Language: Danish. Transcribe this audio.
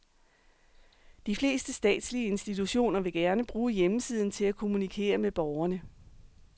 De fleste statslige institutioner vil gerne bruge hjemmesiden til at kommunikere med borgerne.